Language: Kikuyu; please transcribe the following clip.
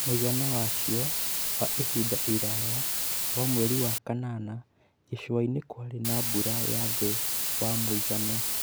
Mũigana wacio wa ihinda iraya wa mweri wa kanana , gĩcũa-inĩ kwarĩ na mbura ya thĩ wa mũigana